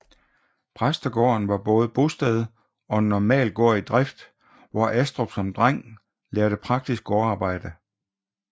Præstegården var både bosted og en normal gård i drift hvor Astrup som dreng lærte praktisk gårdarbejde